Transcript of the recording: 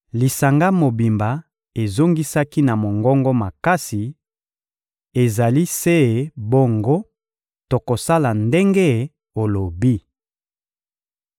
Lisanga mobimba ezongisaki na mongongo makasi: — Ezali se bongo, tokosala ndenge olobi!